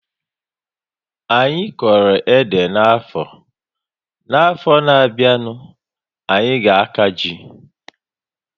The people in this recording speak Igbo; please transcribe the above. Anyị koro ede n'afọ, n'afọ na abịa n'ihu, anyị ga aka jị